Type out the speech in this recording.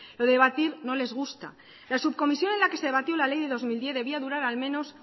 lo de debatir no les gusta la subcomisión en la que se debatió la ley de dos mil diez debía durar al menos